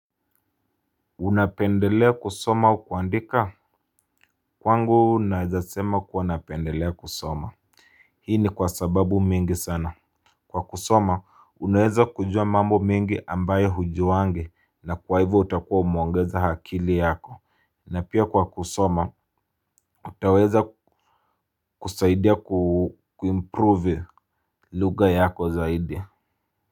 Unapendelea kusoma au kuandika kwangu naweza sema kuwa napendelea kusoma. Hii ni kwa sababu mingi sana. Kwa kusoma unaweza kujua mambo mingi ambaye hujui na kwa hivyo utakuwa umeongeza akili yako. Na pia kwa kusoma utaweza kusaidia kuimprove lugha yako zaidi.